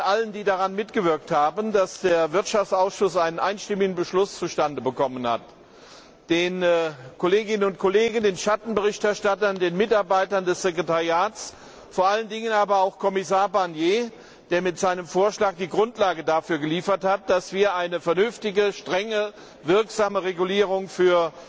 allen, die daran mitgewirkt haben, Dank sagen, dass der Wirtschaftsausschuss einen einstimmigen Beschluss zustande gebracht hat den Kolleginnen und Kollegen, den Schattenberichterstattern, den Mitarbeitern des Sekretariats, vor allen Dingen aber auch Kommissar Barnier, der mit seinem Vorschlag die Grundlage dafür geliefert hat, dass wir eine vernünftige, strenge, wirksame Regulierung für